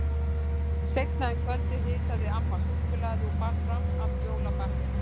Seinna um kvöldið hitaði amma súkkulaði og bar fram allt jólabakkelsið.